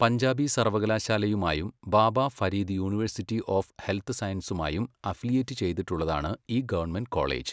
പഞ്ചാബി സർവകലാശാലയുമായും Baba Farid university of health സയൻസസുമായും affiliate ചെയ്തിട്ടുള്ളതാണ് ഈ ഗവൺമെന്റ് കോളേജ്.